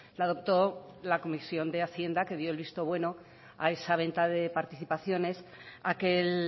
la adoptó la comisión de hacienda que dio el visto bueno a esa venta de participaciones aquel